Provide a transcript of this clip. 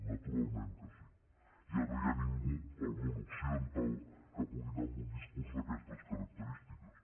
naturalment que sí ja no hi ha ningú al món occidental que pugui anar amb un discurs d’aquestes característiques